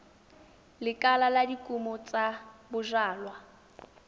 lekala la dikumo tsa bojalwa